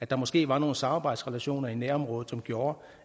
der måske var nogle samarbejdsrelationer i nærområdet som gjorde